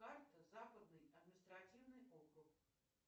карта западный административный округ